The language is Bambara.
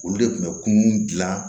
Olu de kun bɛ kunun gilan